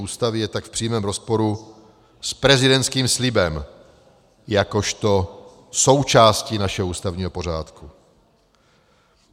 Ústavy je tak v přímém rozporu s prezidentským slibem jakožto součástí našeho ústavního pořádku.